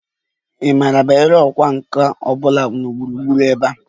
Ị maara banyere ọkwá nkà ọ bụla gburugburu ebe a?